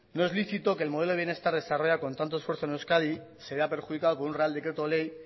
no es lícito que el modelo de bienestar desarrollada con tanto esfuerzo en euskadi se vea perjudicada por un real decreto ley